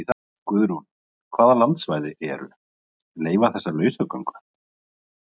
Guðrún: Hvaða landsvæði eru, leyfa þessa lausagöngu?